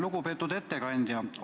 Lugupeetud ettekandja!